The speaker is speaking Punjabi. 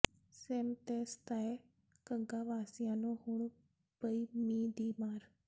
ਸੇਮ ਦੇ ਸਤਾਏ ਘੱਗਾ ਵਾਸੀਆਂ ਨੂੰ ਹੁਣ ਪਈ ਮੀਂਹ ਦੀ ਮਾਰ